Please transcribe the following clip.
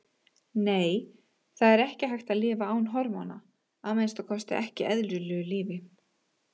Nei, það er ekki hægt að lifa án hormóna, að minnsta kosti ekki eðlilegu lífi.